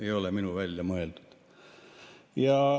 Ei ole minu välja mõeldud.